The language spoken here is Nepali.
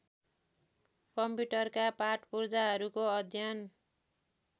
कम्प्युटरका पाटपुर्जाहरूको अध्ययन